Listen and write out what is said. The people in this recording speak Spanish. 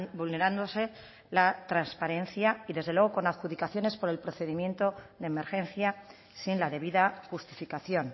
vulnerándose la transparencia y desde luego con adjudicaciones por el procedimiento de emergencia sin la debida justificación